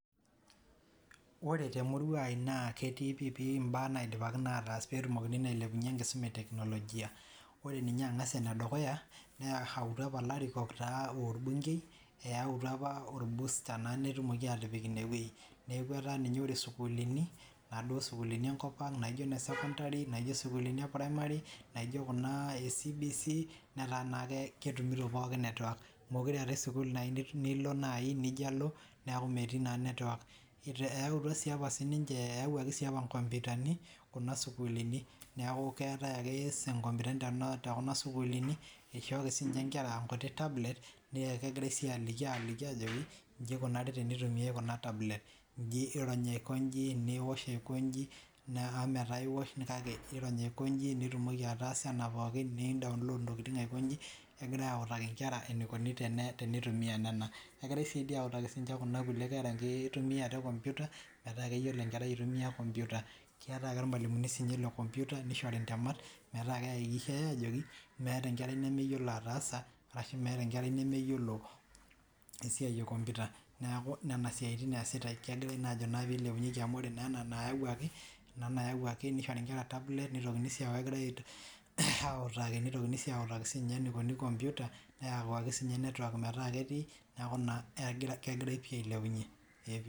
Oree te murua ai naa ketii pii pii imbaa naidipaki naa aatas peetumokini naa ailepunye enkisuma ee teknologia ore ninye ang'as ene dukuya neyautua apa ilarikok aa orbunkei ayautua apa orbusta naa peetumoki aatipik ine wei neeku etaa ninye oree isukulini naa duo sukulini enkop ang' naijo ene secondary naijo isukulini ee primary naijo Kuna ee CBC netaa naa ake ketumito pookin network meekure eetae sukul nilo nayii nijo alo neeku meetii naa network eyautua naa apa sininche eyawuaki sii apa inkompitani Kuna sukulini neeku keetae ake inkompiutani too kuna sukulini eishooki sinye inkera tablet naa kegirai sii aliki aajoki iji eikunari teneitumiai kuna tablet iji irony aikonji niwosh aiko inji neeta metaa iwosh iirrony aikoji nitumoki ataasa ena pookin nei download intokiting' aiko inji kegirai awutaki inkera eneiko teneitumia nena kegirai sii dii awutaki Kuna kulie kera teneitumia computer metaa keyiolo enkerai aitumia computer keetae ake sinche irmalimuni lee computer neishori ntemat metaa keihakikishai aajoki meeta enkerai nemeyiolo ataasa arashu meeta enkerai nemeyiolo esiai ee computer neeku nena siaitin eesitae kegirae naa ajo pee eilepunyeki amuu oree naa ena nayawuaki neishori inkera tablet neitokini sii aaku kegirae awutaki neitokini sii awutaki sinye eneikuni computer neyau ake sinye network metaa ketii neeku naa kegirae pii alilepunye.